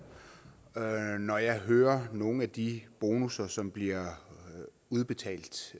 når jeg hører om nogle af de bonusser som bliver udbetalt